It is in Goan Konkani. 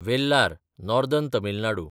वेल्लार (नॉदर्न तमील नाडू)